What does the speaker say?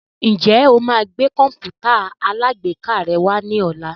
Ǹjẹ́ o máa gbé Kọ̀m̀pútà alágbèéká rẹ wá ní ọ̀la?